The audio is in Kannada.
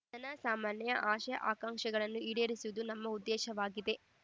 ಜನ ಸಾಮಾನ್ಯ ಆಶೆ ಆಕಾಂಕ್ಷೆಗಳನ್ನು ಈಡೇರಿಸುವುದು ನಮ್ಮ ಉದ್ದೇಶವಾಗಿದೆ